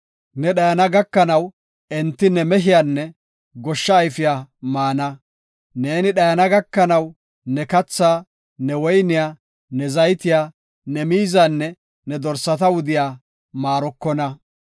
Ne dhayana gakanaw enti ne mehiyanne goshsha ayfiya maana. Neeni dhayana gakanaw ne kathaa, ne woyniya, ne zaytiya, ne miizanne ne dorsa wudiya maarokona.